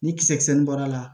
Ni kisɛ nin bɔr'a la